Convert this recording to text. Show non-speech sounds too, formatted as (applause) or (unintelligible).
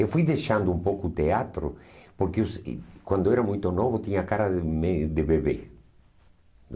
Eu fui deixando um pouco o teatro, porque eu sei quando eu era muito novo, eu tinha a cara de (unintelligible) de bebê.